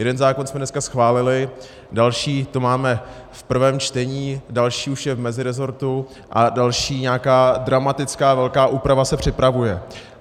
Jeden zákon jsme dneska schválili, další tu máme v prvém čtení, další už je v meziresortu a další, nějaká dramatická velká úprava, se připravuje.